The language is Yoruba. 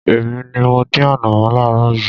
Èmi ní mọ dín ànọ̀mó láaaro yìí.